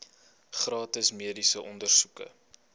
gratis mediese ondersoeke